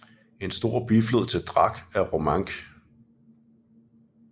En stor biflod til Drac er Romanche